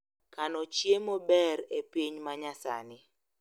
Kano chiemo ber e piny manyasani